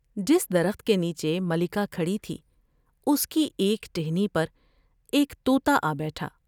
جس درخت کے نیچے ملکہ کھڑی تھی اس کی ایک ٹہنی پر ایک تو تا آ بیٹھا ۔